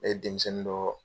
Ne ye denmisɛnnin dɔ.